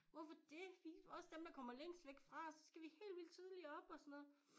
Hvorfor det vi også dem der kommer længst væk fra så skal vi helt vildt tidligt op og sådan noget